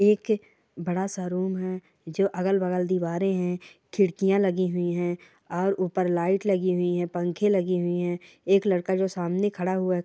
एक बड़ा सा रूम है जो अगल- बगल दीवारे हैं खिड़कियाँ लगी हुई है और ऊपर लाइट लगी हुई है पंखे लगे हुए है एक लड़का जो सामने खड़ा हुआ--